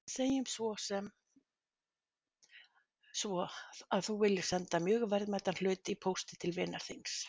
Segjum sem svo að þú viljir senda mjög verðmætan hlut í pósti til vinar þíns.